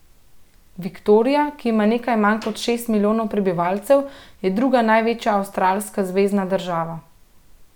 Viktorija, ki ima nekaj manj kot šest milijonov prebivalcev, je druga največja avstralska zvezna država.